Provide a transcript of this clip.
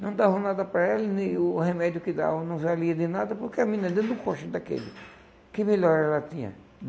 Não davam nada para ela e nem o remédio que davam não valia de nada, porque a menina dentro do daquele, que melhora ela tinha?